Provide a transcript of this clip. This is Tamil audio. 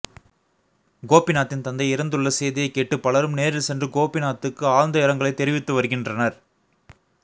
கோபிநாத்தின் தந்தை இறந்துள்ள செய்தியை கேட்டு பலரும் நேரில் சென்று கோபிநாத்துக்கு ஆழ்ந்த இரங்கலை தெரிவித்து வருகின்றனர்